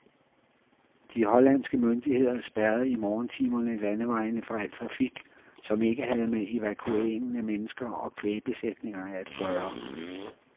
De hollandske myndigheder spærrede i morgentimerne landevejene for al trafik, som ikke havde med evakueringen af mennesker og kvægbesætninger at gøre.